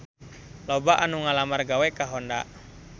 Loba anu ngalamar gawe ka Honda